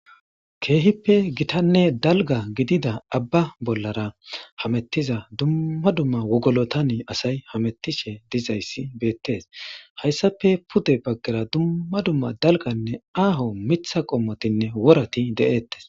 keehippe gitanne dalga gidida abba bollara hamettiza dumma dumma wogolotani asay hamettishe dizayssi beettees hayssafe pude baggera dumma dumma dalganne aaho mitha qommotinne worati de7eettes